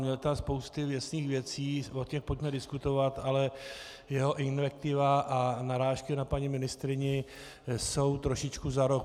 Měl tam spousty věcných věcí, o těch pojďme diskutovat, ale jeho invektiva a narážky na paní ministryni jsou trošičku za roh.